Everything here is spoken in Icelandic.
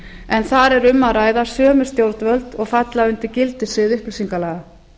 en þar er um að ræða sömu stjórnvöld og falla undir gildissvið upplýsingalaga